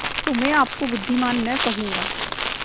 तो मैं आपको बुद्विमान न कहूँगा